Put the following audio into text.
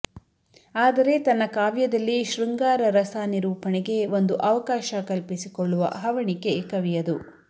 ಆದರೆ ತನ್ನ ಕಾವ್ಯದಲ್ಲಿ ಶೃಂಗಾರರಸ ನಿರೂಪಣೆಗೆ ಒಂದು ಅವಕಾಶ ಕಲ್ಪಿಸಿಕೊಳ್ಳುವ ಹವಣಿಕೆ ಕವಿಯದು